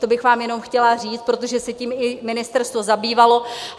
To bych vám jenom chtěla říct, protože se tím i ministerstvo zabývalo.